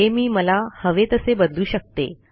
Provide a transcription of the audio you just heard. हे मी मला हवे तसे बदलू शकते